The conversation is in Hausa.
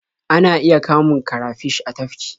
Ana iya kamun karafish a tafki.